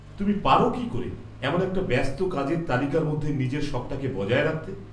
-তুমি পারো কী করে এমন একটা ব্যস্ত কাজের তালিকার মধ্যে নিজের শখটাকে বজায় রাখতে?